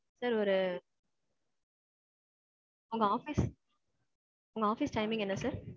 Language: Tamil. sir ஒரு. உங்க office. உங்க office timing என்ன sir?